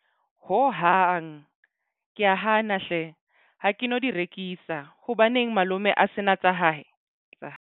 Hohang ke a hana hle, ha ke no di rekisa. Hobaneng malome a sena tsa hae tsa hae?